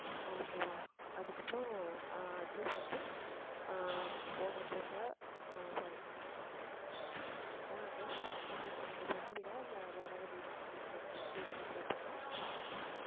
okay வா அதுக்கப்புறம் ஆஹ் address வந்து ஆஹ் own address ஆ sorry உன்னோட own address, I mean உனக்கு சொந்த வீடா இல்லை வாடகை வீடா அப்படிங்கிறது வந்து இருந்துச்சு அப்படின்னா